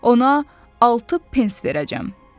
Ona altı pens verəcəm.